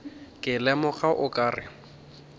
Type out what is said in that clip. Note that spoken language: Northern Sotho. ke lemoga o ka re